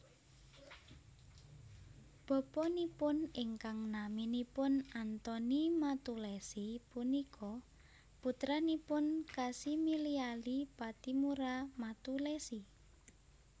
Bapanipun ingkang naminipun Antoni Mattulessy punika putranipun Kasimiliali Pattimura Mattulessy